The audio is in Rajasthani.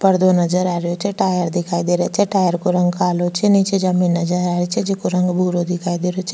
पर्दो नजर आ रियो छे टायर दिखाई दे रियो छे टायर को रंग कालो छे नीचे जमींन नजर आ रही छे जेको रंग भूरो दिखाई दे रियो छे।